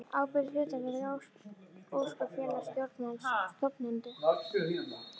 ábyrgð hlutafélag óskráð félag stjórnarmenn stofnendur